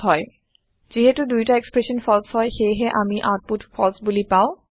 যিহেটো দুয়োটা expression false হয় সেয়েহে আমি আওতপুত ফালছে বোলি পাওঁ